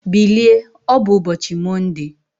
Bilie, ọ bụ ụbọchị Mọnde!